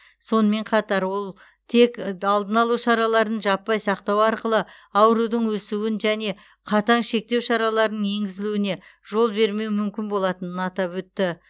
сонымен қатар ол тек алдын алу шараларын жаппай сақтау арқылы аурудың өсуін және қатаң шектеу шараларының енгізілуіне жол бермеу мүмкін болатынын атап өтті